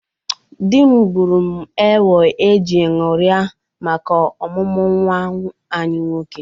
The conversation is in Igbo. Di m gburu m ewo e ji ñụrịa maka ọmụmụ nwa anyị nwoke.